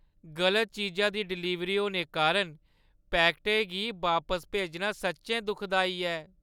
गलत चीजा दी डलीवरी होने कारण पैकटै गी बापस भेजना सच्चैं दुखदाई ऐ।